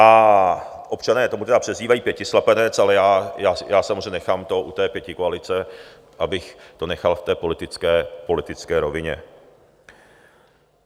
A občané to možná přezdívají pětislepenec, ale já samozřejmě nechám to u té pětikoalice, abych to nechal v té politické rovině.